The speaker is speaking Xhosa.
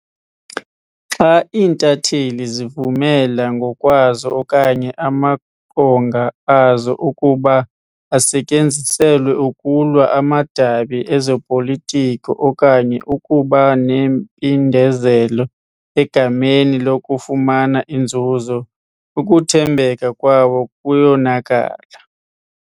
Xa iintatheli zivumela ngokwazo okanye amaqonga azo ukuba asetyenziselwe ukulwa amadabi ezopolitiko okanye ukuba nempindezelo egameni lokufumana inzuzo, ukuthembeka kwabo kuyonakala.